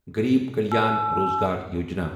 غریٖب کلیان روجگار یوجنا